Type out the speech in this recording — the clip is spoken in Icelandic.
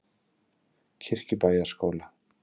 Kirkjubæjarskóla